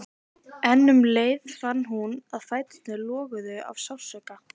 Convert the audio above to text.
En um leið fann hún að fæturnir loguðu af sársauka.